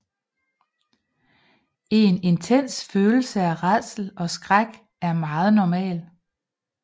En intens følelse af rædsel og skræk er meget normal